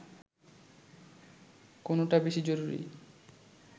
কোনটা বেশি জরুরি